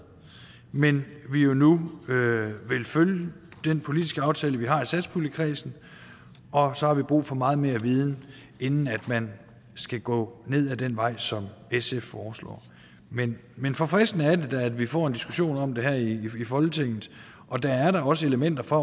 men at vi jo nu vil følge den politiske aftale vi har i satspuljekredsen og så har vi brug for meget mere viden inden man skal gå ned ad den vej som sf foreslår men men forfriskende er det da at vi får en diskussion om det her i folketinget og der er da også elementer fra